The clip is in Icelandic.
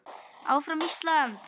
ÁFRAM ÍSLAND!